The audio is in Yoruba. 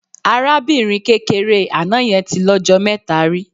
Arábìnrin kékeré àná yẹn tí lọ́jọ mẹ́ta rí.